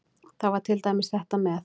Það var til dæmis þetta með